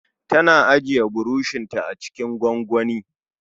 Tana ajiye burushin ta acikin gwangwani